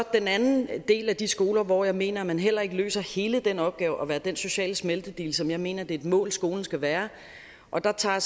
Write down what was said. den anden del af de skoler hvor jeg mener man heller ikke løser hele den opgave at være den sociale smeltedigel som jeg mener det er et mål skolen skal være og der tager